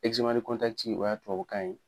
o y'a tubabukan ye